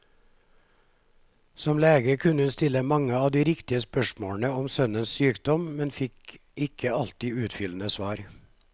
Som lege kunne hun stille mange av de riktige spørsmålene om sønnens sykdom, men fikk ikke alltid utfyllende svar.